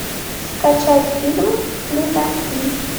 скачать фильм плезантвиль